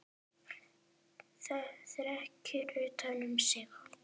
Þrekinn utan um sig.